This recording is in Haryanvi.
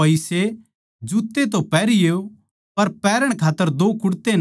जुत्ते तो पैहरियो पर पैहरण खात्तर दो कुड़ते ना लियो